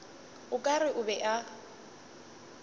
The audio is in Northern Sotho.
o ka re o be